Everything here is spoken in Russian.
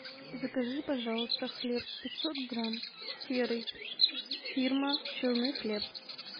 закажи пожалуйста хлеб пятьсот грамм серый фирма челны хлеб